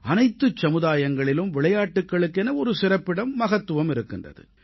அனைத்துச் சமுதாயங்களிலும் விளையாட்டுக்களுக்கென ஒரு சிறப்பிடம் மகத்துவம் இருக்கின்றது